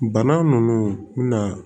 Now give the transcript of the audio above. Bana nunnu mina